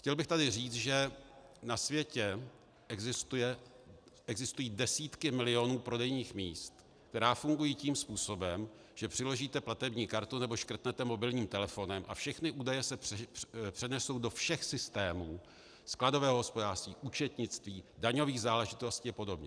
Chtěl bych tady říci, že na světě existují desítky milionů prodejních míst, která fungují tím způsobem, že přiložíte platební kartu nebo škrtnete mobilním telefonem a všechny údaje se přenesou do všech systémů, skladového hospodářství, účetnictví, daňových záležitostí a podobně.